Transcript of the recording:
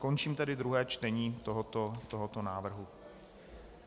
Končím tedy druhé čtení tohoto návrhu.